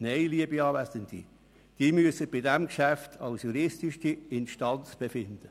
Nein, liebe Anwesende, Sie müssen bei diesem Geschäft als juristische Instanz befinden.